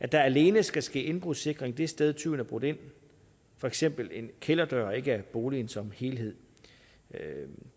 der alene skal ske indbrudssikring det sted tyven er brudt ind for eksempel en kælderdør og ikke af boligen som helhed